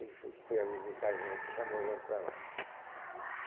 Ele foi foi a visitar a gente, chamou a gente para lá.